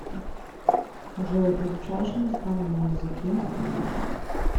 джой изучаешь иностранные языки